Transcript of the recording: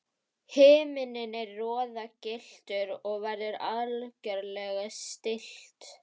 Himinninn er roðagylltur og veður algerlega stillt.